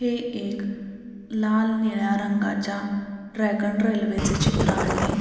हे एक लाल निळ्या रंगाच्या ड्रॅगन रेल्वे चे चित्र आहे.